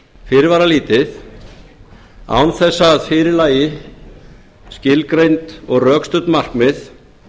fyrirvaralítið án þess að fyrir lægi skilgreind og rökstutt markmið